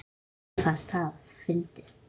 Henni fannst það fyndið.